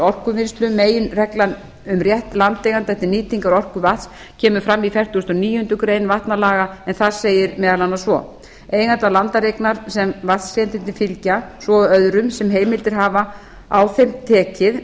orkuvinnslu meginreglan um rétt landeigenda til nýtingar orkunnar kemur fram í fertugustu og níundu grein vatnalaga en þar segir meðal annars svo eigandi landareignar sem vatnsréttindi fylgja svo og öðrum sem heimildir hafa á þeim tekið